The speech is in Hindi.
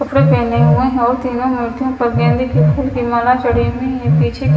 कपडे पहने हुए है और तीनो मूर्तियोंपर गेंदे का फूल की माला जड़ी हुयी है पीछे--